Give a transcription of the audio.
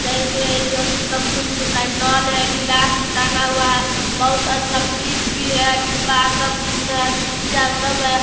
जड़ से अथी आर सब कुछ मिलता है नल है ग्लास भी टांगा हुआ है बहुत अच्छा फ्रिज भी है | डिब्बा है सब कुछ है सीसी आर सब है ।